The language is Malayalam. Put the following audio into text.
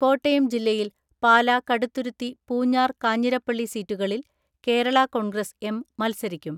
കോട്ടയം ജില്ലയിൽ പാലാ കടുത്തുരുത്തി പൂഞ്ഞാർ കാഞ്ഞിരപ്പള്ളി സീറ്റുകളിൽ കേരളാ കോൺഗ്രസ് എം മൽസരിക്കും.